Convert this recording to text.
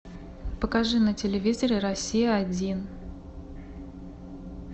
покажи на телевизоре россия один